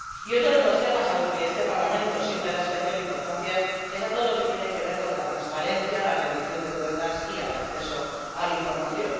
Otro de los temas a los que este Parlamento siempre da especial importancia es todo lo que tiene que ver con la transparencia, la rendición de cuentas y el acceso a la información.